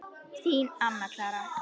Þín, Anna Clara.